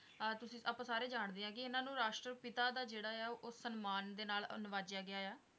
ਆਹ ਤੁਸੀਂ, ਆਪਾਂ ਸਾਰੇ ਜਾਂਦੇ ਹੈ ਕਿ ਇਹਨਾਂ ਨੂੰ ਰਾਸ਼ਟਰਪਿਤਾ ਦਾ ਜਿਹੜਾ ਹੈ ਉਹ ਸਨਮਾਨ ਦੇ ਨਾਲ ਅਨਵਾਜੇਆ ਗਿਆ ਆ।